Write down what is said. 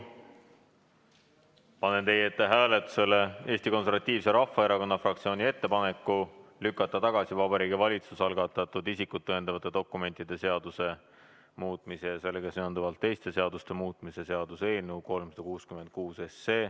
Panen teie ette hääletusele Eesti Konservatiivse Rahvaerakonna fraktsiooni ettepaneku lükata tagasi Vabariigi Valitsuse algatatud isikut tõendavate dokumentide seaduse muutmise ja sellega seonduvalt teiste seaduste muutmise seaduse eelnõu 366.